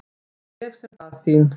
Og ég sem bað þín!